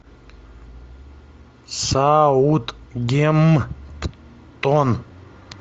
саутгемптон